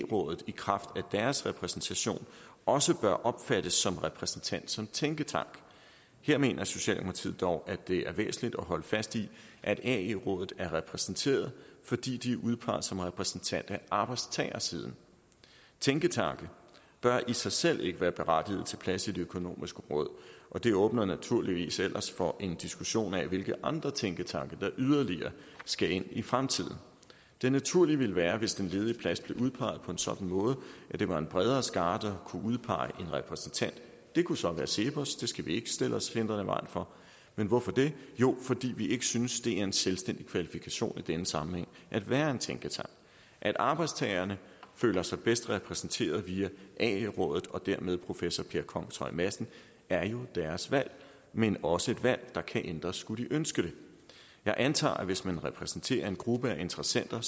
rådet i kraft af deres repræsentation også bør opfattes som repræsentant for en tænketank her mener socialdemokratiet dog at det er væsentligt at holde fast i at ae rådet er repræsenteret fordi de er udpeget som repræsentant af arbejdstagersiden tænketanke bør i sig selv ikke være berettiget til plads i det økonomiske råd og det åbner naturligvis ellers for en diskussion af hvilke andre tænketanke der yderligere skal ind i fremtiden det naturlige ville være hvis den ledige plads blev udpeget på en sådan måde at det var en bredere skare der kunne udpege en repræsentant det kunne så være cepos det skal vi ikke stille os hindrende i vejen for men hvorfor det jo fordi vi ikke synes det er en selvstændig kvalifikation i denne sammenhæng at være en tænketank at arbejdstagerne føler sig bedst repræsenteret via ae rådet og dermed ved professor per kongshøj madsen er jo deres valg men også et valg der kan ændres skulle ønske det jeg antager at hvis man repræsenterer en gruppe af interessenter